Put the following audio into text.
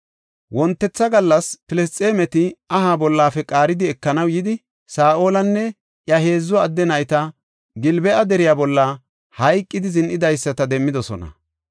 Wontetha gallas Filisxeemeti aha bollafe ola misheta qaaridi ekanaw yidi, Saa7olinne iya heedzu adde nayti Gilbo7a deriya bolla hayqidi zin7idaysata demmidosona.